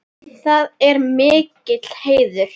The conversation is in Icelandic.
Það er mikill heiður.